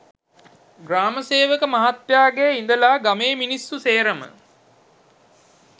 ග්‍රාම සේවක මහත්තයාගේ ඉඳලා ගමේ මිනිස්‌සු සේරම